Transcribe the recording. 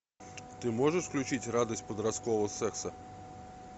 ты можешь включить радость подросткового секса